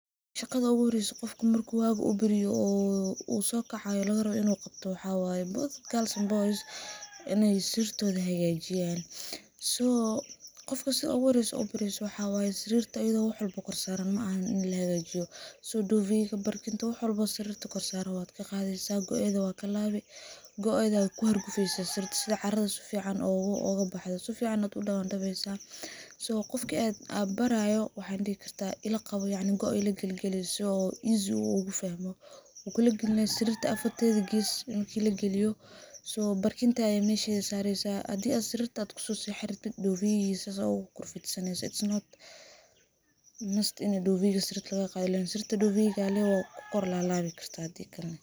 Shaqada uguhoreso qofka marku waga uu baryo uu sokacayo oo lagarawo in u qabto waxaa waye both girls and boys in sarirtodha ay hagajiyan, so qofka sidha uguhoreso ubareyso waxaa waye sarirta wax walba ayadho kor saran maaha in lahagajiyo, so duvet ga barkinta wax walbo sarirta korsaran wad kaqadeysaah , goedha wa kalawi goedha aa kuhargufeysaah sarirta sidha caradha sifican ogabaxdho, sifican ad udawandaweysaah , so qofki an barayo yacni waxaan dihi karaah ilaqawo goaa ilagalgalih si oo easy ogufahmo, u kulagalinaah sarirta afartedha ges marku kulagaliyo so barkinta ad meshedha sareysaah hadi ad sarrita kusosexan rabtid duvet sas ad ugu kor fidsaneysaah, it is not must duvet ga sarirta lagaqadho, wakukor lalabi kartah hadi kalena.